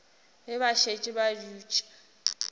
ge ba šetše ba dutše